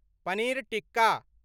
paneer tikka